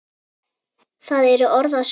Það eru orð að sönnu.